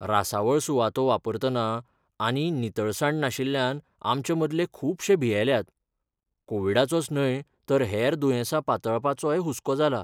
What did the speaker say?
रासवळ सुवातो वापरतना आनी नितळसाण नाशिल्ल्यान आमचेमदले खुबशे भियेल्यात, कोविडाचोच न्हय तर हेर दुयेंसां पातळपाचोय हुस्को जाला.